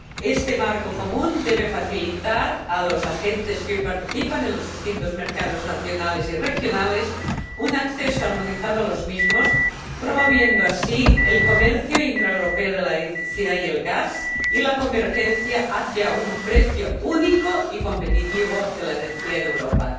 Este marco común debe facilitar a los agentes que hoy participan en los distintos mercados nacionales y regionales un acceso armonizado a los mismos, promoviendo así el comercio intraeuropeo de la electricidad y el gas, y la convergencia hacia un precio único y competitivo de la energía en Europa.